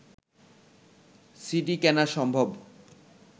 CD কেনা সম্ভব